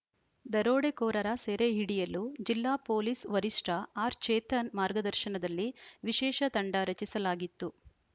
ದರೋಡೆಕೋರರ ಸೆರೆ ಹಿಡಿಯಲು ಜಿಲ್ಲಾ ಪೊಲೀಸ್‌ ವರಿಷ್ಟಆರ್‌ಚೇತನ್‌ ಮಾರ್ಗದರ್ಶನದಲ್ಲಿ ವಿಶೇಷ ತಂಡ ರಚಿಸಲಾಗಿತ್ತು